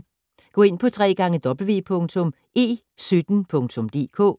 Gå ind på www.e17.dk